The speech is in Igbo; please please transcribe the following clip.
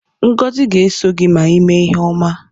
Ngozi ga-eso gị ma ị me ihe ọma.